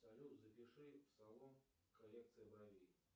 салют запиши в салон коррекция бровей